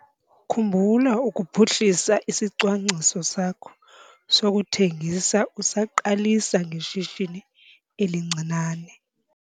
Khumbula ukuphuhlisa isicwangciso sakho sokuthengisa usaqalisa ngeshishini elincinane.